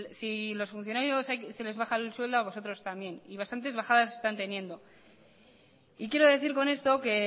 si los funcionarios se les bajan el sueldo a vosotros también y bastantes bajadas están teniendo y quiero decir con esto que